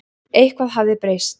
Eitthvað hafði breyst.